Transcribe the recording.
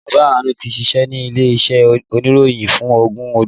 Bàbá Àánú tí ṣíṣe ní ilé iṣẹ́ oníròyìn fún ogún ọdún